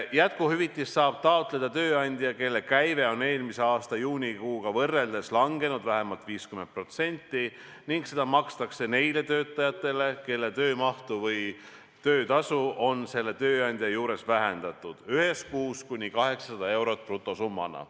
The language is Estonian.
Jätkuhüvitist saab taotleda tööandja, kelle käive on eelmise aasta juunikuuga võrreldes langenud vähemalt 50%, ning seda makstakse neile töötajatele, kelle töömahtu või töötasu on selle tööandja juures vähendatud, ühes kuus kuni 800 eurot brutosummana.